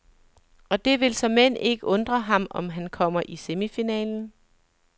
Og det vil såmænd ikke undre ham, om han kommer i semifinalen.